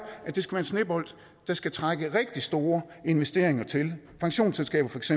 at det skal være en snebold der skal trække rigtig store investeringer til pensionsselskaber feks